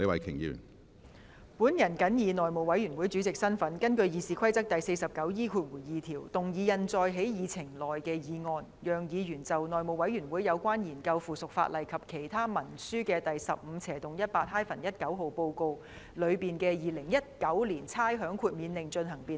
主席，我謹以內務委員會主席的身份，根據《議事規則》第 49E2 條，動議印載在議程內的議案，讓議員就《內務委員會有關研究附屬法例及其他文書的第 15/18-19 號報告》內的《2019年差餉令》進行辯論。